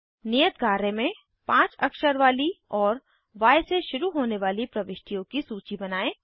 नियत कार्य में5 अक्षर वाली और य से शुरू होने वाली प्रविष्टियों की सूची बनायें